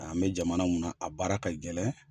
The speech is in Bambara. An bɛ jamana mun na a baara ka gɛlɛn.